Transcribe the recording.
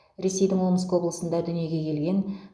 ресейдің омск облысында дүниеге келген